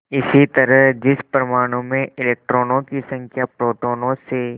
इसी तरह जिस परमाणु में इलेक्ट्रॉनों की संख्या प्रोटोनों से